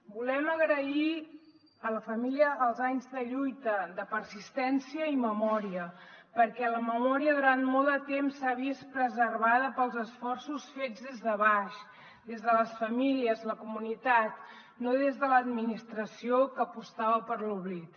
volem agrair a la família els anys de lluita de persistència i memòria perquè la memòria durant molt de temps s’ha vist preservada pels esforços fets des de baix des de les famílies la comunitat no des de l’administració que apostava per l’oblit